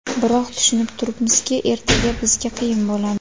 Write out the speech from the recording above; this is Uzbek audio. Biroq, tushunib turibmizki, ertaga bizga qiyin bo‘ladi.